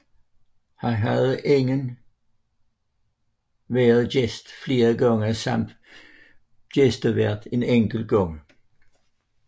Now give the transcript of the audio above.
Han havde inden været gæst flere gange samt været gæstevært en enkelt gang